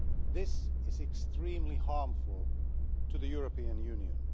This is extremely harmful to the European Union.